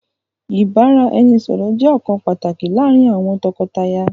Ìbára-ẹni-sọ̀rọ̀ jẹ nkan pàtàkì láàrin àwọn tọkọtaya.